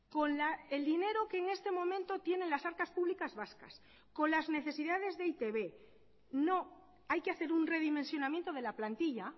con el dinero que en este momento tienen las arcas públicas vascas con las necesidades de e i te be no hay que hacer un redimensionamiento de la plantilla